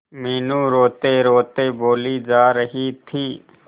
मीनू रोतेरोते बोली जा रही थी